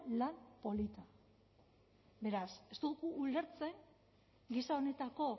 lan polita beraz ez dugu ulertzen gisa honetako